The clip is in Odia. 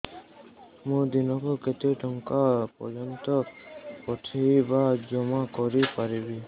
ମୁ ଦିନକୁ କେତେ ଟଙ୍କା ପର୍ଯ୍ୟନ୍ତ ପଠେଇ ବା ଜମା କରି ପାରିବି